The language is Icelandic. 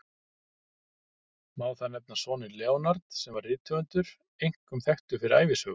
Má þar nefna soninn Leonard, sem var rithöfundur, einkum þekktur fyrir ævisögur.